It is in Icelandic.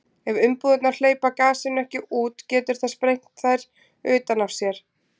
ef umbúðirnar hleypa gasinu ekki út getur það sprengt þær utan af sér